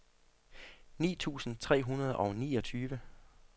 ni tusind tre hundrede og niogtyve